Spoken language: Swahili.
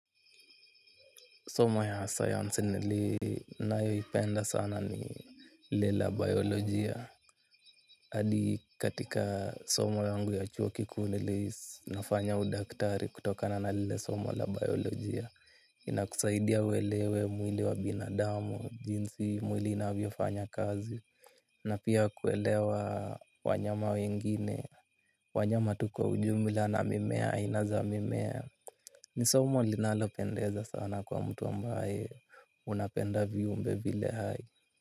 Somo ya science nili nayo ipenda sana ni lila biolojia. Hadi katika somo yangu ya chuo kiku nili nafanya udaktari kutokana na lile somo la biolojia. Ina kusaidia welewe mwili wa binadamu, jinsi mwili inabiofanya kazi. Na pia kuelewa wanyama wengine, wanyama tu kwa ujumla na mimea, inaza mimea. Ni somo linalopendeza sana kwa mtu ambaye unapenda viumbe vile hai.